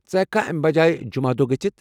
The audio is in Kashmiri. ژٕ ہٮ۪کہ كھا امہ بجٲیہ جمعہ دۄہ گٔژھتھ؟